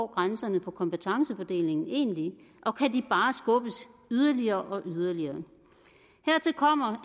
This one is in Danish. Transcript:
grænserne på kompetencefordelingen egentlig og kan de bare skubbes yderligere og yderligere hertil kommer